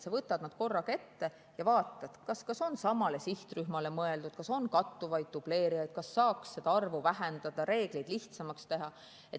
Sa võtad nad korraga ette ja vaatad, kas need on samale sihtrühmale mõeldud, kas on kattuvusi, dubleerimist, kas saaks seda arvu vähendada, reegleid lihtsamaks teha.